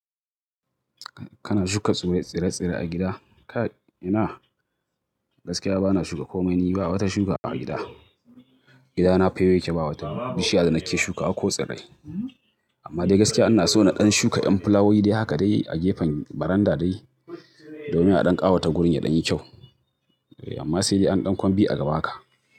Kana shuka tsire-tsire a gida? Ka ina? Gaskiya bana shuka komai, ni ba wata shuka a gida. Gidana fayau yake bawa ta bishiya da nake shuka ko tsirrai. Amma dai gaskiya ina so na ɗan shuka ƴan fulawowi dai haka dai a gefen baranda dai domin a ɗan ƙawata wurin ya ɗan yi kyau. Amma sai dai an ɗan kwambi a gaba haka.